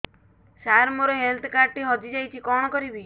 ସାର ମୋର health card ଟି ହଜି ଯାଇଛି କଣ କରିବି